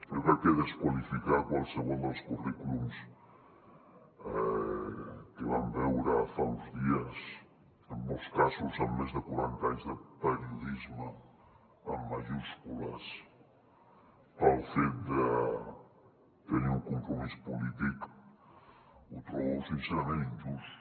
jo crec que desqualificar qualsevol dels currículums que vam veure fa uns dies en molts casos amb més de quaranta anys de periodisme amb majúscules pel fet de tenir un compromís polític ho trobo sincerament injust